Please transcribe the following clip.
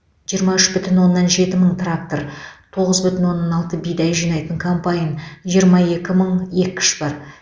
жиырма үш бүтін оннан жеті мың трактор тоғыз бүтін оннан алты бидай жинайтын комбайн жиырма екі мың еккіш бар